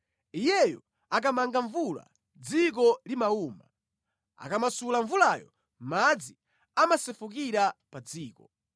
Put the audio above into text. Iyeyo akamanga mvula dziko limawuma; akamasula mvulayo, madzi amasefukira pa dziko.